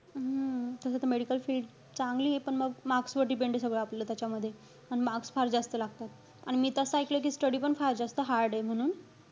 हम्म तस तर medical field चांगलीये. पण मग marks वर depend आहे, सगळं आपलं त्याच्यामध्ये. अन marks फार जास्त लागतात. आणि मी तस ऐकलंय कि study पण फार जास्त hard ए म्हणून.